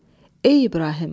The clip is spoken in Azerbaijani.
"Ey İbrahim!